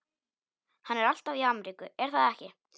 Hann er alltaf í Ameríku, er það ekki?